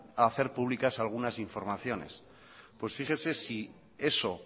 o hacer públicas algunas informaciones pues fíjese si eso